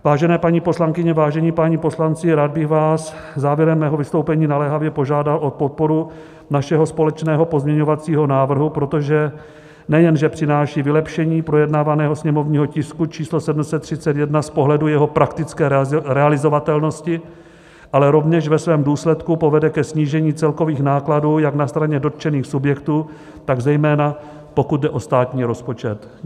Vážené paní poslankyně, vážení páni poslanci, rád bych vás závěrem mého vystoupení naléhavě požádal o podporu našeho společného pozměňovacího návrhu, protože nejenže přináší vylepšení projednávaného sněmovního tisku číslo 731 z pohledu jeho praktické realizovatelnosti, ale rovněž ve svém důsledku povede ke snížení celkových nákladů jak na straně dotčených subjektů, tak zejména pokud jde o státní rozpočet.